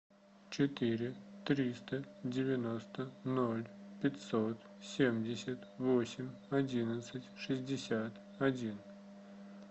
четыре триста девяносто ноль пятьсот семьдесят восемь одиннадцать шестьдесят один